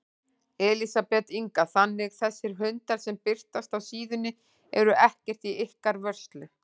Elísabet Inga: Þannig þessir hundar sem birtast á síðunni eru ekkert í ykkar vörslu?